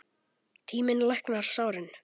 Tíminn læknar sárin.